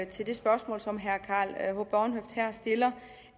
til det spørgsmål som herre karl h bornhøft her stiller